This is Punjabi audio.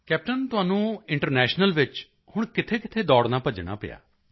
ਕੈਪਟੇਨ ਤੁਹਾਨੂੰ ਇੰਟਰਨੈਸ਼ਨਲ ਵਿੱਚ ਹੁਣ ਕਿੱਥੇਕਿੱਥੇ ਦੌੜਨਾਭੱਜਣਾ ਪਿਆ